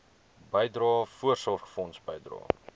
bydrae voorsorgfonds bydrae